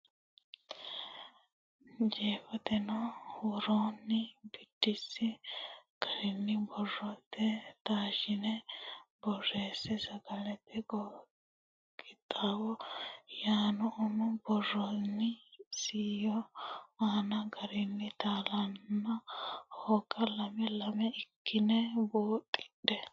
Jeefoteno woroonni biddissi garinni boro ne taashshitine borreesse Sagalete Qixxaawo yaanno uminni borreessitini isayyo aane garinni taalanna hooga lame lame ikkitine buuxidhe.